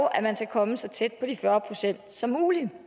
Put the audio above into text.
at man skal komme så tæt på de fyrre procent som muligt